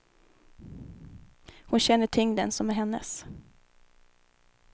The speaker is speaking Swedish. Hon känner tyngden som är hennes.